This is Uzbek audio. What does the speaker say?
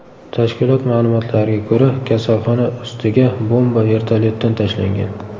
Tashkilot ma’lumotlariga ko‘ra, kasalxona ustiga bomba vertolyotdan tashlangan.